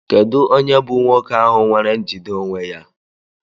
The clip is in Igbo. Kedu onye bụ nwoke ahụ nwere njide onwe ya?